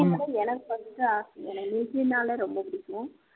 அதுவும் எனக்கு first ஆசை எனக்கு military ன்னாலே ரொம்ப பிடிக்கும்